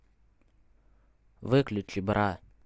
выключи бра